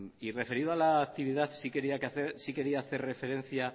y referido a la actividad sí quería hacer referencia